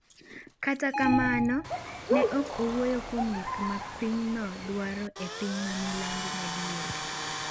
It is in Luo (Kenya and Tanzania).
Kata kamano, ne ok owuoyo kuom gik ma pinyno dwaro e piny ma milambo madiere.